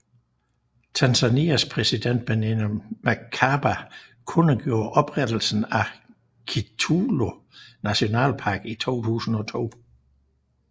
Tanzanias præsident Benjamin Mkapa kundgjorde oprettelsen af Kitulo nationalpark i 2002